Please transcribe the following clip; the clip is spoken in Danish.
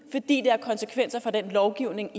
fordi det har konsekvenser for den lovgivning